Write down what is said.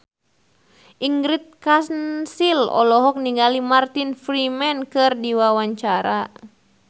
Ingrid Kansil olohok ningali Martin Freeman keur diwawancara